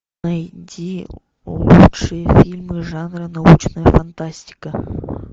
найди лучшие фильмы жанра научная фантастика